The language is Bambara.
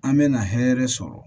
An mɛna hɛrɛ sɔrɔ